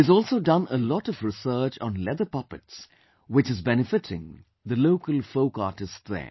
He has also done a lot of research on leather puppets, which is benefitting the local folk artists there